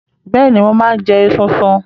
Bẹ́ẹ̀ni, mo máa ń jẹ esunsun.